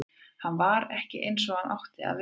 Hann var ekki eins og hann átti að sér að vera.